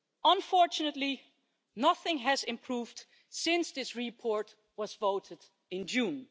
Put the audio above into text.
Unfortunately, nothing has improved since this report was voted on in June.